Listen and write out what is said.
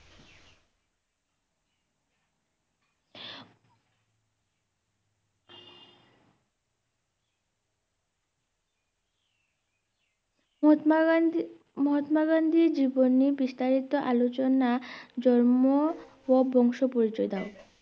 মহাত্মা গান্ধী মহাত্মা গান্ধীর জীবনী বিস্তারিত আলোচনা জন্ম ও বংশ পরিচয় দাও